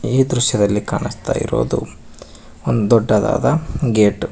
ಈ ದೃಶ್ಯದಲ್ಲಿ ಕಾನಸ್ತಾ ಇರೋದು ಒಂದು ದೊಡ್ಡದಾದ ಗೇಟ್ .